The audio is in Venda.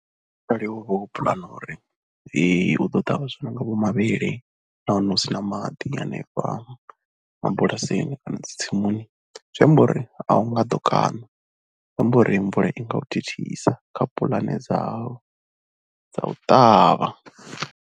Arali wo vha vho puḽana uri u ḓo ṱavha zwithu zwi no nga vho mavhele na hone hu si na maḓi hanefha mabulasini kana dzi tsimuni zwi amba uri a u nga ḓo kana zwi amba uri mvula i nga u thithisa kha puḽane dzau dza u ṱavha.